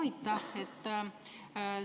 Aitäh!